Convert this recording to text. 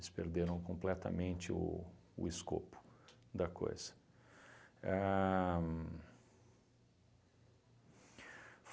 perderam completamente o o escopo da coisa. Ahn